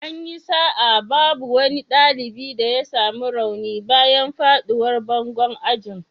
An yi sa'a babu wani dalibi da ya samu rauni bayan fadowar bangon ajin.